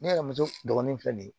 Ne yɛrɛ muso dɔgɔnin filɛ nin ye